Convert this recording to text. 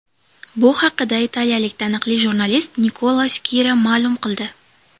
Bu haqida italiyalik taniqli jurnalist Nikola Skira ma’lum qildi .